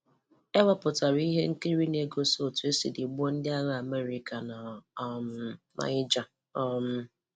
E wepụtala ihe nkiri na-egosi otu e siri gbuo ndị agha Amerịka na um Niger um